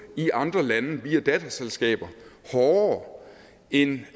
i andre lande via datterselskaber hårdere end